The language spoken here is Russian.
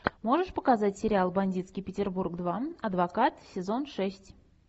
можешь показать сериал бандитский петербург два адвокат сезон шесть